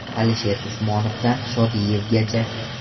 Alisher Usmonovdan Shodiyevgacha.